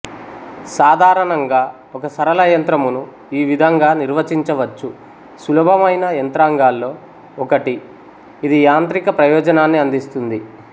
సాధారణంగా ఒక సరళ యంత్రమును ఈ విధంగా నిర్వచించవచ్చు సులభమైన యంత్రాంగాల్లో ఒకటి ఇది యాంత్రిక ప్రయోజనాన్ని అందిస్తుంది